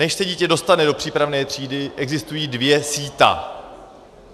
Než se dítě dostane do přípravné třídy, existují dvě síta.